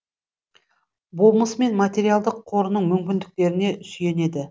болмысы мен материалдық қорының мүмкіндіктеріне сүйенеді